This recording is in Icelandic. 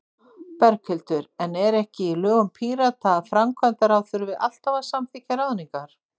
Berghildur: En er ekki í lögum Pírata að framkvæmdaráð þurfi alltaf að samþykkja ráðningar?